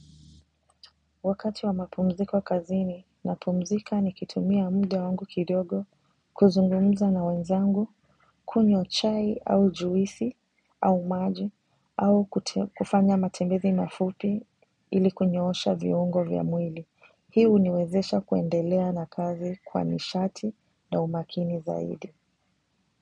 Wakati wa mapumziko kazini na pumzika nikitumia mda wangu kidogo kuzungumza na wenzangu kunywa chai au juisi au maji au kufanya matembezi mafupi ili kunyoosha viungo vya mwili. Hii uniwezesha kuendelea na kazi kwa nishati na umakini zaidi.